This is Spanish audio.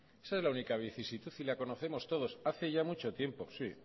esa es la única vicisitud y las conocemos todos hace ya mucho tiempo sí